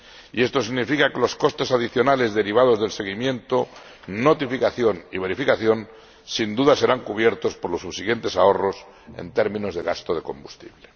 Y esto significa que los costes adicionales derivados del seguimiento, notificación y verificación serán, sin duda, cubiertos por los subsiguientes ahorros en términos de gasto de combustible.